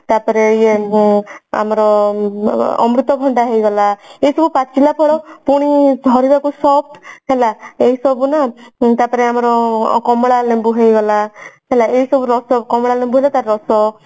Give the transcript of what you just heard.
ତ ପରେ ଇଏ ଆମର ଅମୃତଭଣ୍ଡା ହେଇଗଲା ଏସବୁ ପାଚିଲା ଫଳ ଧରିବାକୁ soft ହେଲା ଏଇ ସବୁ ନା ତା ପରେ ଆମର କମଳା ଲେମ୍ବୁ ହେଇଗଲା ହେଲା ଏଇସବୁ ରସ କମଳା ଲେମ୍ବୁ ତା ରସ